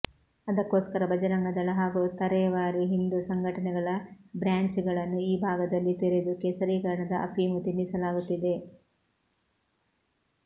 ಅದಕ್ಕೋಸ್ಕರ ಭಜರಂಗ ದಳ ಹಾಗೂ ತರೇವಾರಿ ಹಿಂದೂ ಸಂಘಟನೆಗಳ ಬ್ರ್ಯಾಂಚುಗಳನ್ನು ಈ ಭಾಗದಲ್ಲಿ ತೆರೆದು ಕೇಸರೀಕರಣದ ಅಫೀಮು ತಿನ್ನಿಸಲಾಗುತ್ತಿದೆ